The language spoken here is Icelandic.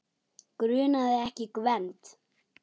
Grunaði ekki Gvend.